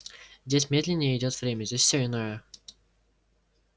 здесь медленнее идёт время здесь все иное